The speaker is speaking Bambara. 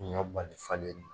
Mun y'a bali falen man?